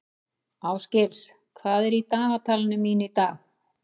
Ásgils, hvað er í dagatalinu mínu í dag?